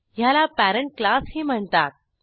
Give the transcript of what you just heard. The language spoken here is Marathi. ह्याला पेरेंट क्लासही म्हणतात